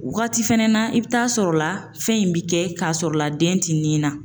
Wagati fɛnɛ na i bi t'a sɔrɔ la, fɛn in bi kɛ k'a sɔrɔ la den ti nin na